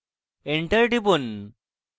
enter টিপুন